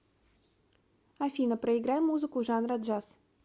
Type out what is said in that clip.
афина проиграй музыку жанра джаз